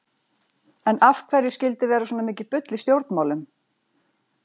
En af hverju skyldi vera svona mikið bull í stjórnmálum?